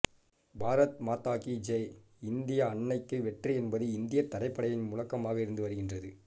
பாரத் மாதா கி ஜெய் இந்திய அன்னைக்கு வெற்றி என்பது இந்தியத் தரைப்படையின் முழக்கமாக இருந்து வருகின்றது